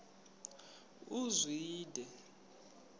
uzwide